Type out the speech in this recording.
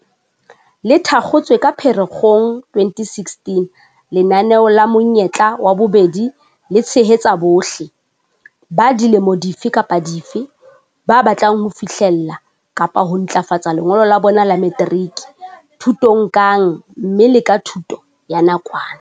Le thakgotswe ka Phere-kgong 2016, lenaneo la Monyetla wa Bobedi le tshehetsa bohle - ba dilemo dife kapa dife - ba batlang ho fihlella kapa ho ntlafatsa lengolo la bona la materiki, thutong kang mme le ka thuto ya nakwana.